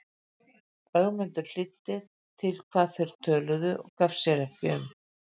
Ögmundur hlýddi til hvað þeir töluðu og gaf sér ekki um.